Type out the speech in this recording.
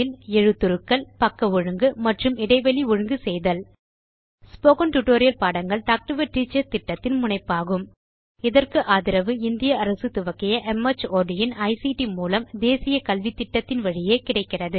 எழுத்துருக்கள் பக்க ஒழுங்கு மற்றும் இடைவெளை ஒழுங்கு செய்தல் ஸ்போகன் டுடோரியல் பாடங்கள் டாக் டு எ டீச்சர் திட்டத்தின் முனைப்பாகும்இதற்கு ஆதரவு இந்திய அரசு துவக்கிய மார்ட் இன் ஐசிடி மூலம் தேசிய கல்வித்திட்டத்தின் வழியே கிடைக்கிறது